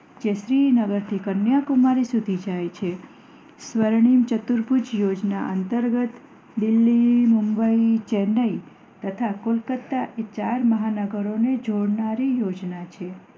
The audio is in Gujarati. જે શ્રીનગર થી કન્યાકુમારી સુધી જાય છે સ્વર્ણિમ ચતુર ભુજ યોજના અંતર્ગત દિલ્હી મુંબઈ ચેન્નાઈ તથા કોલકાતા એ ચાર મહાનગરો ને જોડનારી યોજના છે